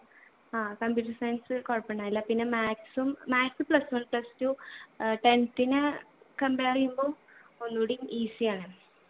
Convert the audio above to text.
ആ computer science കൊഴപ്പുണ്ടായില്ല പിന്നെ maths ഉം maths plus one plus two ഏർ tenth ന compare എയ്യുമ്പോ ഒന്നൂടിയും easy ആണ്